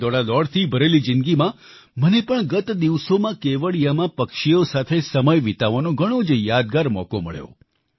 મારી દોડાદોડથી ભરેલી જિંદગીમાં મને પણ ગત દિવસોમાં કેવડિયામાં પક્ષીઓ સાથે સમય વિતાવવાનો ઘણો જ યાદગાર મોકો મળ્યો